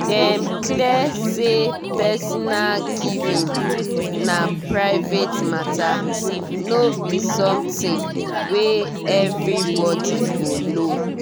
dem clear say personal giving na private matter no be something wey everybody go know.